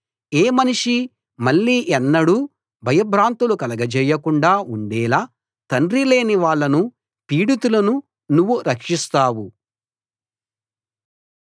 ఏ మనిషీ మళ్ళీ ఎన్నడూ భయభ్రాంతులు కలగజేయకుండా ఉండేలా తండ్రి లేని వాళ్ళను పీడితులను నువ్వు రక్షిస్తావు